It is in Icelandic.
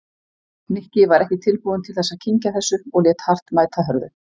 Nikki var ekki tilbúinn til þess að kyngja þessu og lét hart mæta hörðu.